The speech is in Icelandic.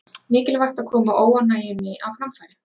Mikilvægt að koma óánægjunni á framfæri